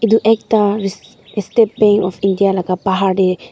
Etu ekta shhh State Bank of India la bahar dae--